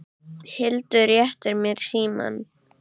Hildur réttir mér símann.